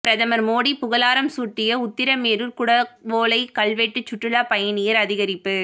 பிரதமர் மோடி புகழாரம் சூட்டிய உத்திரமேரூர் குடவோலை கல்வெட்டு சுற்றுலா பயணியர் அதிகரிப்பு